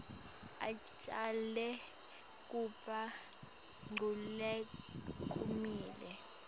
acale kuba ngulekumele